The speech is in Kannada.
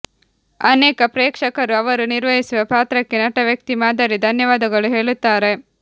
ಅನೇಕ ಪ್ರೇಕ್ಷಕರು ಅವರು ನಿರ್ವಹಿಸುವ ಪಾತ್ರಕ್ಕೆ ನಟ ವ್ಯಕ್ತಿ ಮಾದರಿ ಧನ್ಯವಾದಗಳು ಹೇಳುತ್ತಾರೆ